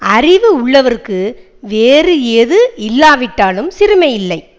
அறிவு உள்ளவர்க்கு வேறு எது இல்லாவிட்டாலும் சிறுமை இல்லை